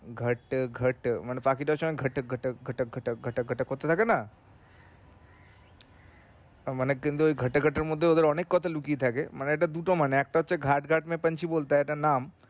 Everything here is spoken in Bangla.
ঘাট ঘাট মানে পাখিটা ঐসময় ঘট ঘট ঘট ঘট ঘট ঘট করতে থাকেনা তার মানে ঘট ঘটের মধ্যে অনেক কথা লুকিয়ে থাকে মানে এটার দুটো নাম একটা হচ্ছে ঘাট ঘাট মে পাঞ্ছি বোলতা হে একটা নাম